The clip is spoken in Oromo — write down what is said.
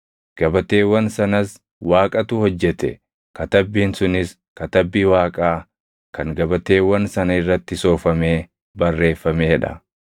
Gabateewwan sanas Waaqatu hojjete; katabbiin sunis katabbii Waaqaa kan gabateewwan sana irratti soofamee barreeffamee dha.